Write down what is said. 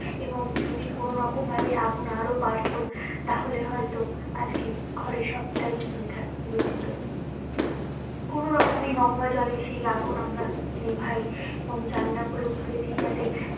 এবং যদি কোনোরকম ভাবে আগুন আরো বাড়তো তাহলে হয়তো আজকে ঘরে সবটাই পুড়ে খাক পুড়ে যেতো কোনো রকমের গঙ্গা জল এই সেই আগুন আমরা নেভাই এবং জানালা গুলো খুলে দি যাতে